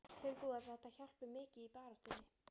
Telur þú að þetta hjálpi mikið í baráttunni?